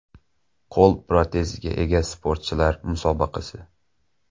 Qo‘l proteziga ega sportchilar musobaqasi.